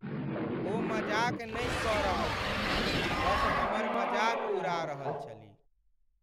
ओ मजाक नहि कऽ रहल छलीह, बस हमर मजाक उड़ा रहल छलीह।